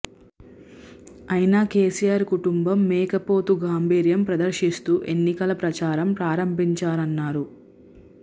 అయినా కేసీఆర్ కుటుంబం మేకపోతు గాంభీర్యం ప్రదర్శిస్తూ ఎన్నికల ప్రచారం ప్రారంభించారన్నారు